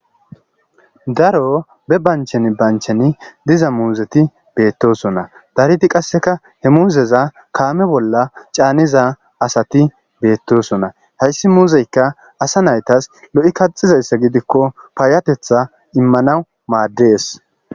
daro be banchen banchen diza muuzeti beettosonna dariti qasseka he muuzeza kaame bolla caaniza asati beettosonna hayssi muuzeyka asa naytas lo7i kaxizayssa gidikko paayatetha immanawu maaddees